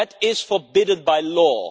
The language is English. That is forbidden by law.